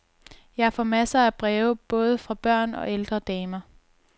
Jeg får masser af breve både fra børn og ældre damer.